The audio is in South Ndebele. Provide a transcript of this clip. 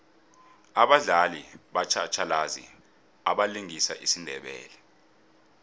abadlali batjhatjhalazi abalingisa isindebele